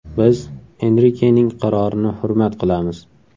Biz Enrikening qarorini hurmat qilamiz.